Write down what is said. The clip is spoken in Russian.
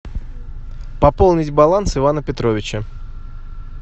пополнить баланс ивана петровича